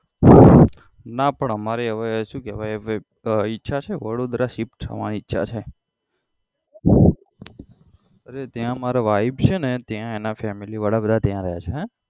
ના પણ અમારે હવે શુ કેવાય હવે ઈચ્છા છે વડોદરા shift થવાની ઈચ્છા છે અરે ત્યાં મારી wife છે ને ત્યાં એના family વાળા બધા ત્યાં રહે છે